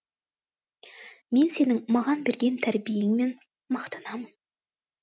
мен сенің маған берген тәрбиеңмен мақтанамын